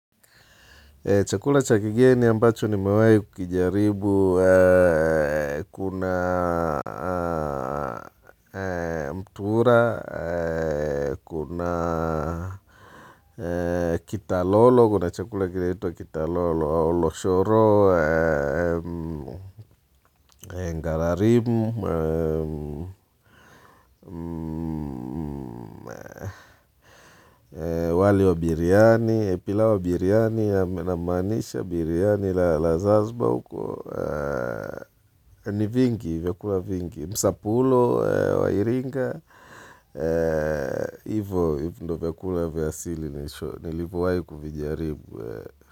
Chakula cha kigeni ambacho nimewahi kukijaribu kuna mtura kitalolo, kuna chakula kila kinaitwa kitalolo, au loshoro, ngalarimu, wali wa biriani, pilau wa biriani, namaanisha biriani la Zanzibar huko, ni vingi, vyakula vingi. Msapulo wa Iringa, hivo ndiyo vyakula vya asili, nilivyowahi kuvijaribu.